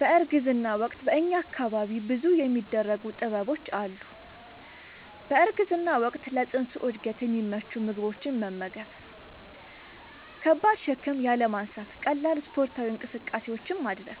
በእርግዝና ወቅት በእኛ አካባቢ ብዙ የሚደረጉ ጥበቦች አሉ። በእርግዝና ወቅት ለፅንሱ እድገት የሚመቹ ምግቦችን መመገብ። ከባድ ሸክም ያለማንሳት ቀላል ስፓርታዊ እንቅስቃሴዎችን ማድረግ።